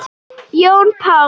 Jón Páll.